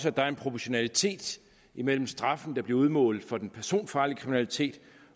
at der er en proportionalitet mellem straffen der bliver udmålt for den personfarlige kriminalitet